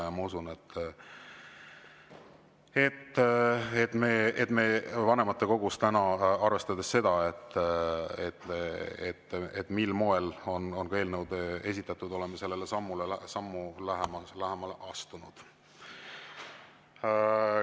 Ja ma usun, et me täna vanematekogus – arvestades seda, mil moel on eelnõud esitatud – oleme sammu lähemale astunud.